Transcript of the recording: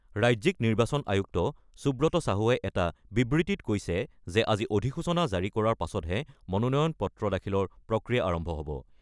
ৰাজ্যিক নিৰ্বাচন আয়ুক্ত সুব্ৰত চাহুৱে এটা বিবৃতিত কৈছে যে আজি অধিসূচনা জাৰি কৰাৰ পাছতে মনোনয়ন পত্ৰ দাখিলৰ প্ৰক্ৰিয়া আৰম্ভ হ'ব।